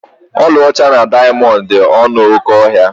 Ọlaọcha na dayamondu dị ọnụ oké ahịa